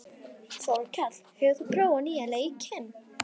Þorkell, hefur þú prófað nýja leikinn?